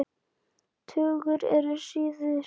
Tugir eru særðir.